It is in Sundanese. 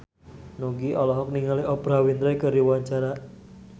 Nugie olohok ningali Oprah Winfrey keur diwawancara